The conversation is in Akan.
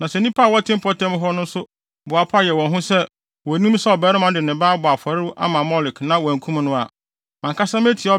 Na sɛ nnipa a wɔte mpɔtam hɔ no nso boapa yɛ wɔn ho sɛ wonnim sɛ ɔbarima no de ne ba abɔ afɔre ama Molek na wɔankum no a, mʼankasa metia